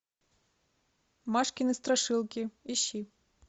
машкины страшилки ищи